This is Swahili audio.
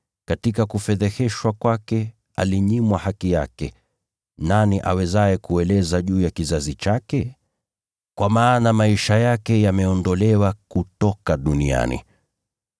Katika kufedheheshwa kwake alinyimwa haki yake. Nani awezaye kueleza juu ya kizazi chake? Kwa maana maisha yake yaliondolewa kutoka duniani.”